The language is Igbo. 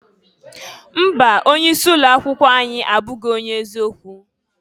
Mba! Onye isi ụlọ akwụkwọ anyị abụghị onye eziokwu.